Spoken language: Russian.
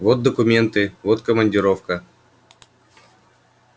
вот документы вот командировка